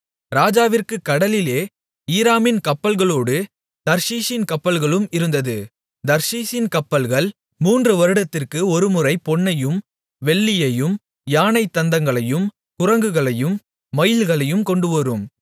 ராஜாவிற்குக் கடலிலே ஈராமின் கப்பல்களோடு தர்ஷீசின் கப்பல்களும் இருந்தது தர்ஷீசின் கப்பல்கள் மூன்று வருடத்திற்கு ஒருமுறை பொன்னையும் வெள்ளியையும் யானைத் தந்தங்களையும் குரங்குகளையும் மயில்களையும் கொண்டுவரும்